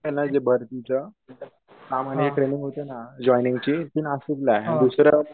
training होते ना joining ची ती नाशिकला ये अन दुसऱ्या